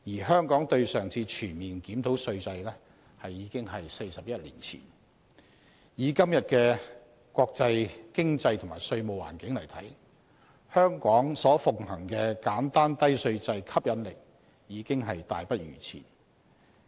香港對上一次全面檢討稅制已經是41年前，以今天的國際經濟和稅務環境來看，香港所奉行的簡單低稅制吸引力已大不如前。